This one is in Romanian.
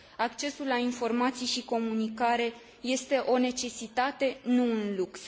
Accesul la informații și comunicare este o necesitate, nu un lux.